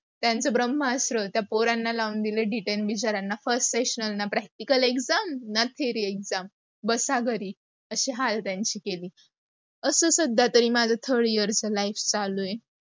त्यांच ब्रह्मस्त्र त्या पोरांना लावून दिल detaine बिचार्‍यांना first question, practical exam ना theory exam बसा घरी, अशी हाल त्यांची केली. अस सद्या माझा third year च life चालू आहे.